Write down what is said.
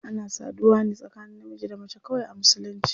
Ana saduwa ne tsakanin namiji da mace kawai a musulunci.